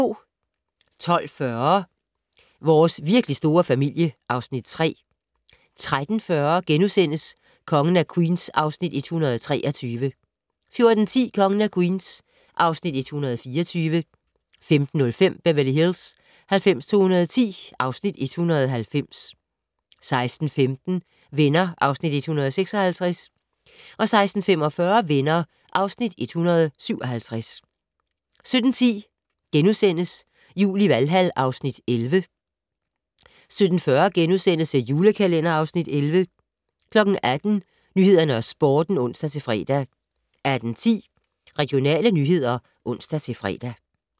12:40: Vores virkelig store familie (Afs. 3) 13:40: Kongen af Queens (Afs. 123)* 14:10: Kongen af Queens (Afs. 124) 15:05: Beverly Hills 90210 (Afs. 190) 16:15: Venner (Afs. 156) 16:45: Venner (Afs. 157) 17:10: Jul i Valhal (Afs. 11)* 17:40: The Julekalender (Afs. 11)* 18:00: Nyhederne og Sporten (ons-fre) 18:10: Regionale nyheder (ons-fre)